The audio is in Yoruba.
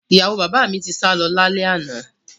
Ìyàwó bàbá mi ti sálọ lálẹ́ àná